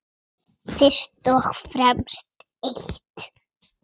Fyrst og fremst eitt.